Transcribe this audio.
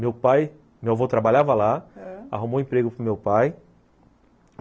Meu pai, meu avô trabalhava lá, ãh, arrumou emprego para o meu pai.